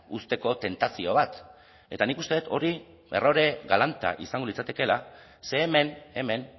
uzteko tentazio bat eta nik uste dut hori errore galanta izango litzatekeela ze hemen hemen